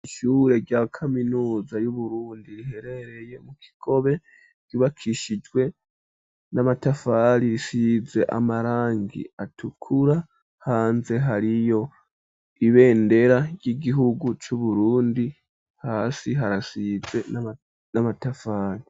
Ishure rya kaminuza yu Burundi riherereye mu kigobe ribakishijwe n'amatafari risize amarangi atukura hanze hariyo ibendera ry'igihugu cu Burundi hasi harasize n'amatafari.